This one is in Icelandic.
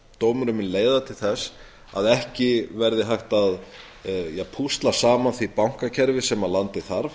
mun leiða til þess að ekki verði hægt að púsla saman því bankakerfi sem landið þarf